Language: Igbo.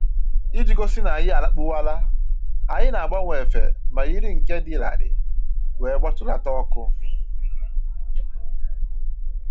Iji gosi n'anyị alakpuwala, anyị na-agbanwe efe ma yiri nke dị larịị wee gbatulata ọkụ